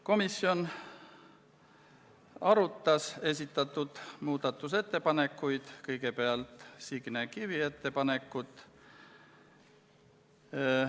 Komisjon arutas esitatud muudatusettepanekuid, kõigepealt Signe Kivi ettepanekut.